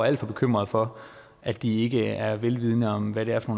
alt for bekymrede for at de ikke er vidende om hvad det er for